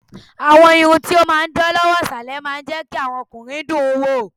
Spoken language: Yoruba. Àwọn irun ti ó máa ń dán lọ́wọ́ ìsàlẹ̀ máa ń jẹ́ kí àwọn ọkùnrin dùn ún wò.